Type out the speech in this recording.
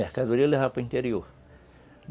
Mercadoria levava para o interior.